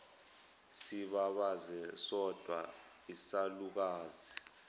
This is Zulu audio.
sibabaze sodwa isalukazi